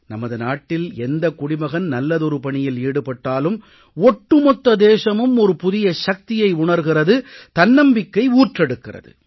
நமது நாட்டில் எந்த குடிமகன் நல்லதொரு பணியில் ஈடுபட்டாலும் ஒட்டுமொத்த தேசமும் ஒரு புதிய சக்தியை உணர்கிறது தன்னம்பிக்கை ஊற்றெடுக்கிறது